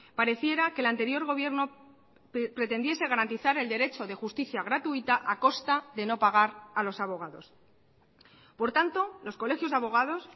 pareciera que el anterior gobierno pretendiese garantizar el derecho de justicia gratuita a costa de no pagar a los abogados por tanto los colegios de abogados